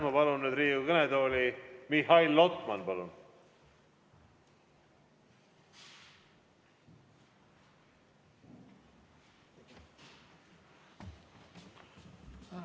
Ma palun nüüd Riigikogu kõnetooli Mihhail Lotmani!